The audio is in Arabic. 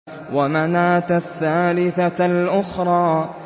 وَمَنَاةَ الثَّالِثَةَ الْأُخْرَىٰ